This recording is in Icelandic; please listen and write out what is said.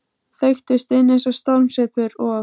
Feyktust inn eins og stormsveipur, og